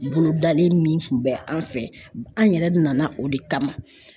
Bolodalen min kun bɛ an fɛ an yɛrɛ nana o de kama